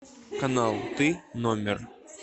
канал ты номер